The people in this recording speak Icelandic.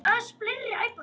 Þín Íris Dögg.